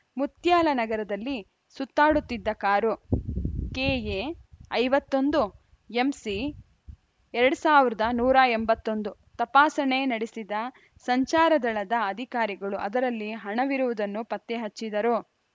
ಮುತ್ಯಾಲ ನಗರದಲ್ಲಿ ಸುತ್ತಾಡುತ್ತಿದ್ದ car KA ಐವತ್ತ್ ಒಂದು ಎಂಸಿ ಎರಡ್ ಸಾವಿರದ ನೂರ ಎಂಬತ್ತ್ ಒಂದು ತಪಾಸಣೆ ನಡೆಸಿದ ಸಂಚಾರ ದಳದ ಅಧಿಕಾರಿಗಳು ಅದರಲ್ಲಿ ಹಣವಿರುವುದನ್ನು ಪತ್ತೆ ಹಚ್ಚಿದ್ದರು